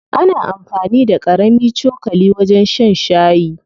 Ana amfani da ƙarami cokali wajen shan shayi.